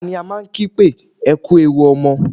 Ta ni a máa ń kí pé "Ẹ kú ewu ọmọ"?